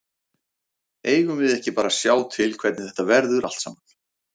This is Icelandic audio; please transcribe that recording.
Eigum við ekki bara að sjá til hvernig þetta verður allt saman.